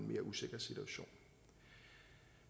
mere usikker situation